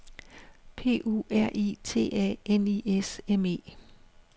P U R I T A N I S M E